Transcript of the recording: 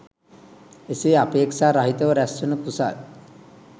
එසේ අපේක්‍ෂා , රහිතව රැස්වන කුසල්